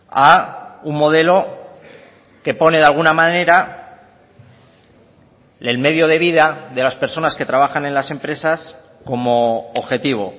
a un modelo que pone de alguna manera el medio de vida de las personas que trabajan en las empresas como objetivo